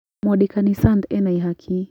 Mwandĩkani Sant ena ihaki